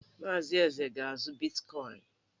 Maazị Eze ga-azụ bitkọịn.